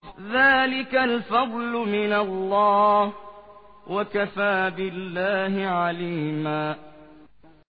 ذَٰلِكَ الْفَضْلُ مِنَ اللَّهِ ۚ وَكَفَىٰ بِاللَّهِ عَلِيمًا